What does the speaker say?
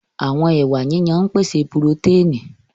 Àwọn ẹwà yíyan ń pèsè purotẹ́ẹ̀nì